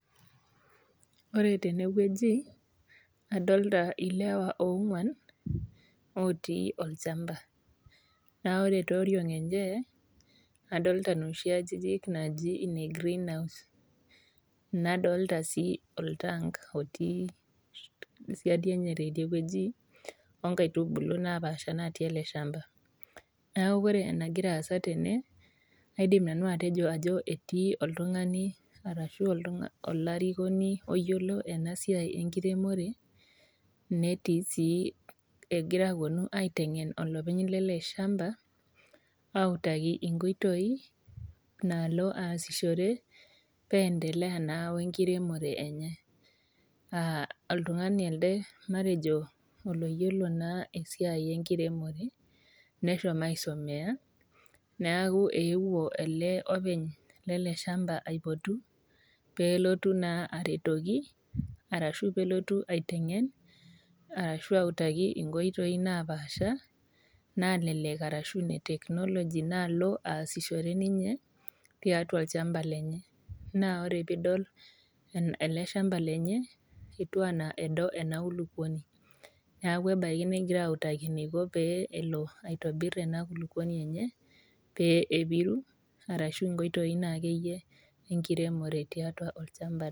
Ore tenewueji adolta ilewa ong'uan otii olchamba naa ore teoriong enye adolta inoshi ajijik naaji ine greenhouse nadolta sii oltank otii siadi enye teidie wueji onkaitubulu napaasha natii ele shamba neaku ore enagira aasa tene naidim nanu atejo ajo etii oltung'ani arashu olarikoni oyiolo ena siai enkiremore netii sii egira aponu aiteng'en olopeny lele shamba autaki inkoitoi naalo aasishore pendelea naa wenkiremore enye uh oltung'ani elde matejo oloyiolo naa esiai enkiremore neshomo aisomeya neaku eewuo ele openy lele shamba aipotu peelotu naa aretoki arashu pelotu aiteng'en arashu autaki inkoitoi napaasha nalelek arashu ine technology naalo aasishore ninye tiatua olchamba naa ore piidol ena ele shamba lenye etuw anaa edo ena kulupuoni niaku ebaki negirae autaki enaiko pee elo aitobirr ena kulukuoni enye pee epiru arashu inkoitoi naa akeyie enkiremore tiatua olchamba.